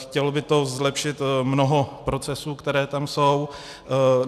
Chtělo by to zlepšit mnoho procesů, které tam jsou.